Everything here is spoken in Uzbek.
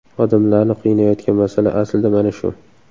Odamlarni qiynayotgan masala aslida mana shu.